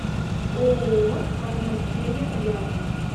ооо фармакея рядом